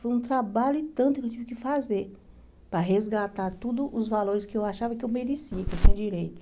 Foi um trabalho e tanto que eu tive que fazer para resgatar todos os valores que eu achava que eu merecia, que eu tinha direito.